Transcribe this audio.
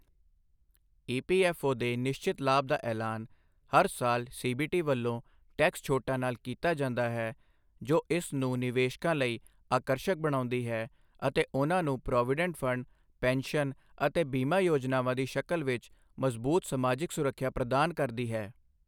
EPFO ਦੇ ਨਿਸ਼ਚਿਤ ਲਾਭ ਦਾ ਐਲਾਨ ਹਰ ਸਾਲ ਸੀਬੀਟੀ ਵਲੋਂ ਟੈਕਸ ਛੋਟਾਂ ਨਾਲ ਕੀਤਾ ਜਾਂਦਾ ਹੈ, ਜੋ ਇਸ ਨੂੰ ਨਿਵੇਸ਼ਕਾਂ ਲਈ ਆਕਰਸ਼ਕ ਬਣਾਉਂਦੀ ਹੈ ਅਤੇ ਉਨ੍ਹਾਂ ਨੂੰ ਪ੍ਰੋਵੀਡੈਂਟ ਫੰਡ, ਪੈਨਸ਼ਨ ਅਤੇ ਬੀਮਾ ਯੋਜਨਾਵਾਂ ਦੀ ਸ਼ਕਲ ਵਿਚ ਮਜ਼ਬੂਤ ਸਮਾਜਿਕ ਸੁਰੱਖਿਆ ਪ੍ਰਦਾਨ ਕਰਦੀ ਹੈ।